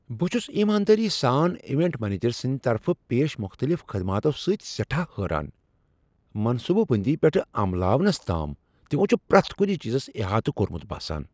بہٕ چُھس ایماندٲری سان ایونٹ منیجر سٕنٛد طرفہٕ پیش مختلف خدماتو سۭتۍ سیٹھاہ حیران ۔ منصوبہٕ بندی پیٹھٕہ عملاونس تام، تِمو چھِ پریتھ کُنہِ چیزس احاطہٕ کوٚرمُت باسان ۔